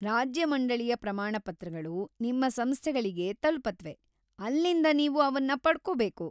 ರಾಜ್ಯ ಮಂಡಳಿಯ ಪ್ರಮಾಣಪತ್ರಗಳು ನಿಮ್ಮ ಸಂಸ್ಥೆಗಳಿಗೆ ತಲುಪತ್ವೆ, ಅಲ್ಲಿಂದ ನೀವು ಅವನ್ನ ಪಡ್ಕೋಬೇಕು.